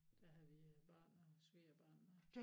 Der havde vi børn og svigerbørn med